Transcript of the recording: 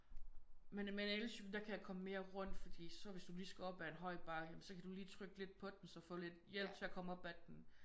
Men med en elcykel der kan jeg komme mere rundt fordi så hvis du lige skal op af en høj bakke ja men så kan du lige trykke lidt på den og så få lidt hjælp til at komme op ad den